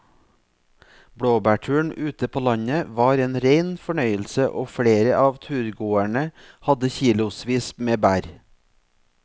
Blåbærturen ute på landet var en rein fornøyelse og flere av turgåerene hadde kilosvis med bær.